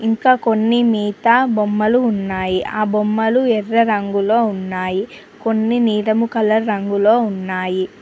ఇంకా కొన్ని మిగతా బొమ్మలు ఉన్నాయి ఆ బొమ్మలు ఎర్ర రంగులో ఉన్నాయి కొన్ని నీలం కలర్ రంగులో ఉన్నాయి.